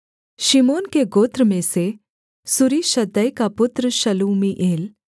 शिमोन के गोत्र में से सूरीशद्दै का पुत्र शलूमीएल